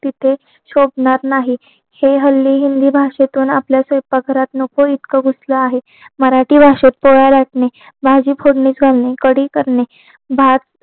तिथे शोभणार नाही हे हल्ली हिंदी भाषेतून आपल्या स्वयंपाक घरातनं नको इतकं कुठला आहेत मराठी भाषेत पोळ्या लाटणे भाजी फोडणी घालणे काळी करणे भात